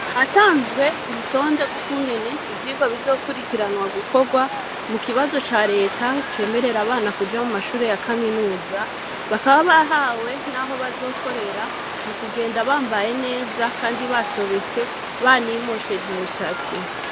Hatanzwe, urutonde, rw'ukungene ivyigwa, bizokurikiranwa gukorwa, mu kibazo ca leta, cemerera abana, kuja mu mashure ya kaminuza; bakaba bahawe, n'aho bazokorera, mu kugenda bambaye neza, kandi basobetse, banimosheje imishatsi.